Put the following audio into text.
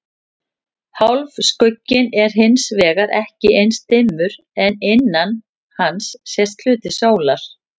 Hálfskugginn er hins vegar ekki eins dimmur en innan hans sést hluti sólar.